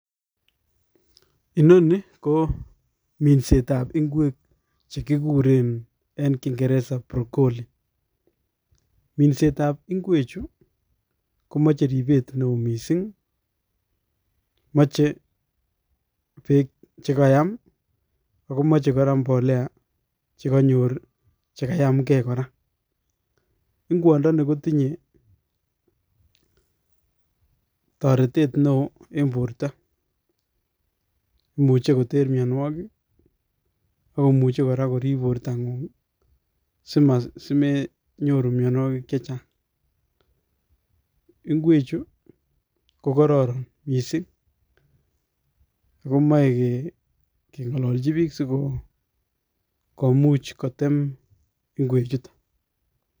Inoni ko minsetab ingwek chekikuren en kingereza Broccoli ,minsetab ingwechu komoche ribet neo missing moche beek che kayaam ak mbolea chekayamge kora. Ingwondoni kotinye toretet neo en borto imuche koter mionwogik ak komuche korib bortangung simenyoru mionwogik chechang .Ingwechu KO korooron missing ak komoe kengololchi book sikomuch koteem ingwechuton.